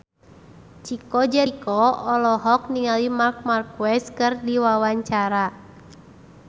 Chico Jericho olohok ningali Marc Marquez keur diwawancara